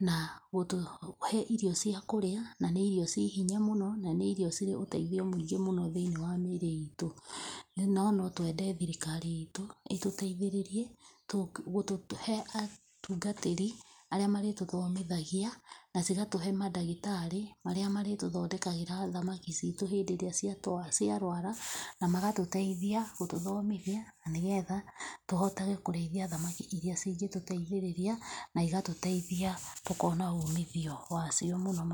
na gũtũhe irio cia kũrĩa na nĩ irio ciĩ hinya mũno na nĩ irio cĩrĩ ũteithio mũingĩ mũno thĩinĩ wa mĩirĩ itũ. No no twende thirikari itũ ĩtũteithĩrĩrie gũtũhe atungatĩri arĩa marĩtuthomithagia na cigatũhe madagĩtarĩ marĩa marĩtũthondekagĩra thamaki citũ hĩndĩ ĩrĩa ciarwara na magatũteithia gũtũthomithia na nĩgetha tũhotage kũrĩithia thamaki irĩa cingĩtũteithĩrĩria na ĩgatũteithia tũkona uumithio wacio mũno...